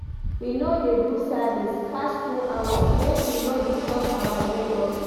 We no dey do service pass two hours, make we no disturb our nebors.